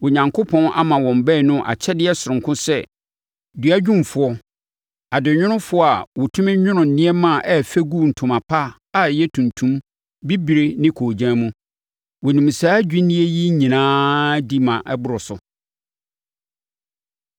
Onyankopɔn ama wɔn baanu akyɛdeɛ sononko sɛ adwumfoɔ, duadwumfoɔ, adenwonofoɔ a wɔtumi nwono nneɛma a ɛyɛ fɛ gu ntoma pa a ɛyɛ tuntum, bibire ne koogyan mu. Wɔnim saa adwinneɛ yi nyinaa di ma ɛboro so.